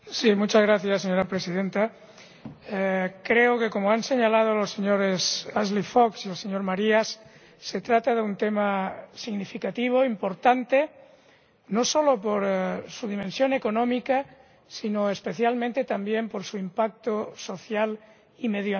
Señora Presidenta, creo que, como han señalado los señores Fox y Marias, se trata de un tema significativo, importante, no solo por su dimensión económica, sino especialmente también por su impacto social y medioambiental.